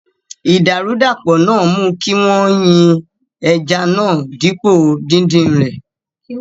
Idarudapo náà mú kí wọ́n yin ẹja náà dípò dídin rẹ̀.